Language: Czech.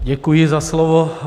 Děkuji za slovo.